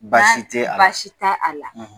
Ba basi tɛ a la baasi ta a la.